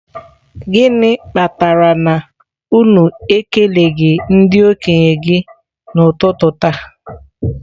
Gịnị kpatara na unu ekeleghị ndị okenye gị n'ụtụtụ taa?